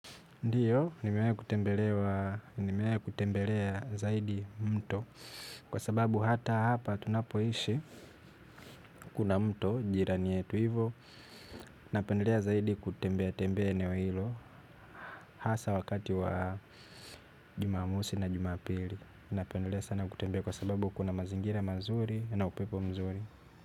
Ndio, nimewahi kutembelea zaidi mto kwa sababu hata hapa tunapoishi kuna mto jirani yetu hivo. Napendelea zaidi kutembea tembea eneo hilo hasa wakati wa jumamosi na jumapili. Napendelea sana kutembea kwa sababu kuna mazingira mazuri na upepo mzuri.